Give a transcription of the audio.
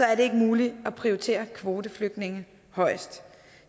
er det ikke muligt at prioritere kvoteflygtninge højest